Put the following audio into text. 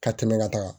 Ka tɛmɛ ka taga